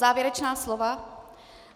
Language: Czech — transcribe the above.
Závěrečné slovo.